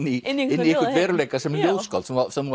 í einu inn í einhvern veruleika sem ljóðskáld sem þú